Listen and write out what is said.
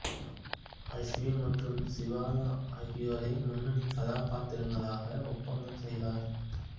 அஸ்வின் மற்றும் சிவதா ஆகியோரை முன்னணி கதாபாத்திரங்களாக ஒப்பந்தம் செய்தார்